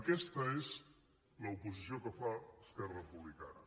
aquesta és l’oposició que fa esquerra republicana